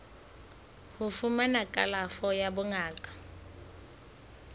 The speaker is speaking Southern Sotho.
ho fumana kalafo ya bongaka